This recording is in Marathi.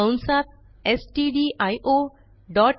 कंसात स्टडिओ डॉट